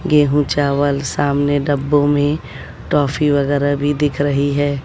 गेहूं चावल सामने डब्बों में टॉफी वगैरह भी दिख रही है।